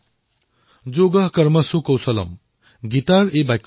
তেওঁ এই দুৰ্লভ চিত্ৰকলাক নতুন প্ৰজন্মক প্ৰদান কৰাৰ বাবে কাম কৰি আছে